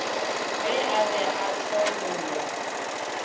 ge a be a tšhobolwa